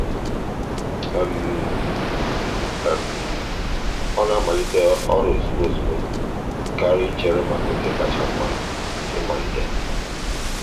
ọ na-amalite ọrụ ozugbo ozugbo karịa ichere maka oge kacha mma ịmalite.